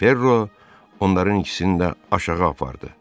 Perro onların ikisini də aşağı apardı.